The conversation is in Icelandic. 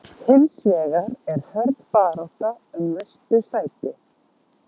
Hins vegar er hörð barátta um næstu sæti.